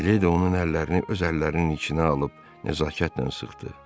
Miledi onun əllərini öz əllərinin içinə alıb nəzakətlə sıxdı.